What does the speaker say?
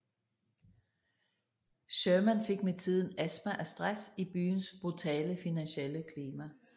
Sherman fik med tiden astma af stress i byens brutale finansielle klima